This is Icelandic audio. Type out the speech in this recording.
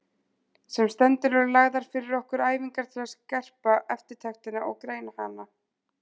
Sem stendur eru lagðar fyrir okkur æfingar til að skerpa eftirtektina og greina hana.